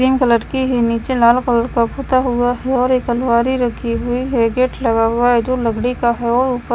cream colour की है नीचे लाल कलर का पुता हुआ है और एक अलमारी रखी हुई है गेट लगा हुआ है जो लकड़ी का है और ऊप--